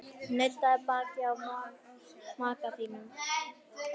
Nuddaðu bakið á maka þínum.